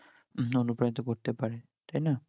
অনুপ্রাণিত করতে পারে তাই না